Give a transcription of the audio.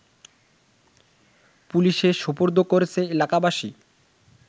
পুলিশে সোপর্দ করেছে এলাকাবাসী